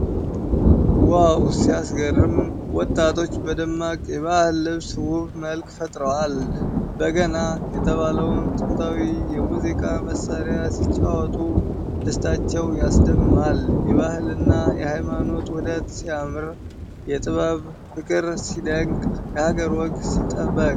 ዋው ሲያስገርም! ወጣቶች በደማቅ የባህል ልብስ ውብ መልክ ፈጥረዋል። በገና የተባለውን ጥንታዊ የሙዚቃ መሣሪያ ሲጫወቱ ደስታቸው ያስደምማል። የባህልና የሃይማኖት ውህደት ሲያምር! የጥበብ ፍቅር ሲደንቅ! የሀገር ወግ ሲጠበቅ!